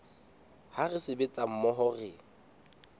ha re sebetsa mmoho re